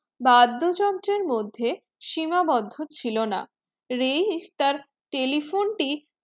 বাদ্যযন্ত্রের মধ্যে সীমাবদ্ধ ছিল না রেইস তার telephone টি